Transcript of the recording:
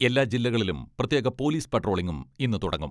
എല്ലാ ജില്ലകളിലും പ്രത്യേക പോലിസ് പട്രോളിങും ഇന്ന് തുടങ്ങും.